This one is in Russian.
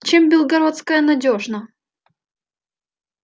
чем белгородская надёжна